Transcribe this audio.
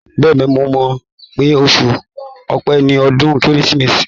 Bẹ́ẹ̀ni, mo mọ̀ pé oṣù Ọpẹ ni ọdún Kérésìmesì.